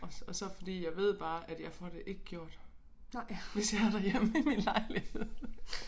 Og så og så fordi jeg ved bare at jeg får det ikke gjort hvis jeg er derhjemme i min lejlighed